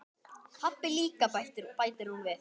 Pabbi líka, bætir hún við.